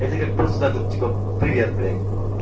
это как просто так вот типа привет блядь